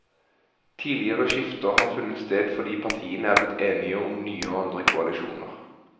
Tidligere skifter har funnet sted fordi partiene er blitt enige om nye og andre koalisjoner.